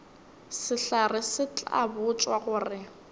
sehlare se tla botšwa gore